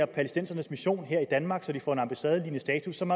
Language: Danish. palæstinensernes mission her i danmark så de får en ambassadelignende status som